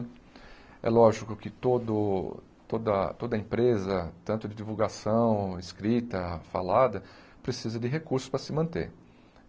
É lógico que todo toda toda empresa, tanto de divulgação, escrita, falada, precisa de recursos para se manter.